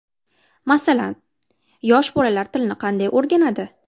Masalan, yosh bolalar tilni qanday o‘rganadi?